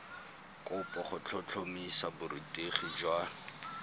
kopo go tlhotlhomisa borutegi jwa